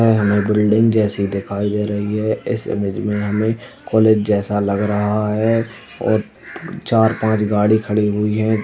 हमें बिल्डिंग जैसी दिखाई दे रही है। इस इमेज में हमें कॉलेज जैसा लग रहा है और चार पांच गाड़ी खड़ी हुई हैं।